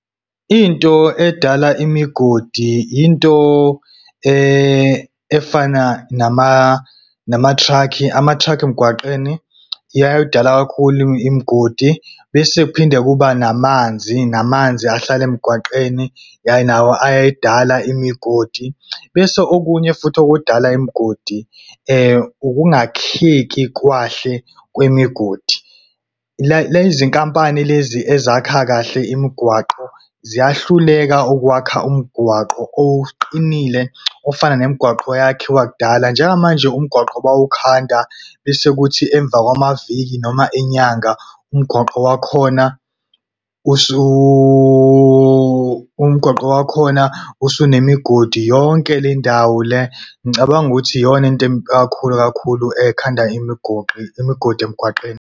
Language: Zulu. Into edala imigodi, into efana nama-truck. Ama-truck emgwaqeni iyakudala kakhulu imigodi. Bese kuphinde kuba namanzi, namanzi ahlala emgwaqeni, ya, nawo ayayidala imigodi. Bese okunye futhi okudala imigodi ukungakheki kahle kwemigodi. Lezi nkampani lezi ezakha kahle imigwaqo, ziyahluleka ukwakha umgwaqo oqinile ofana nemigwaqo eyakhiwa kudala. Njengamanje, umgwaqo bawukhanda bese kuthi emva kwamaviki noma inyanga, umgwaqo wakhona umgwaqo wakhona usunemigodi yonke le ndawo le. Ngicabanga ukuthi iyona into kakhulu kakhulu ekhanda imigodi emgwaqeni.